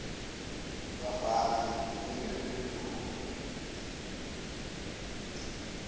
bafana ninike unyoko